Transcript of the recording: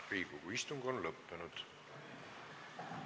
Riigikogu istung on lõppenud.